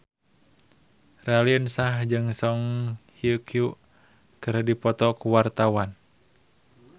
Raline Shah jeung Song Hye Kyo keur dipoto ku wartawan